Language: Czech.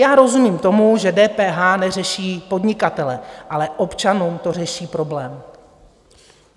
Já rozumím tomu, že DPH neřeší podnikatele, ale občanům to řeší problém.